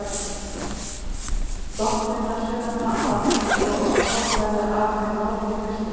Dottinn hersveitanna, svo að hvorki verði eftir af þeim rót né kvistur.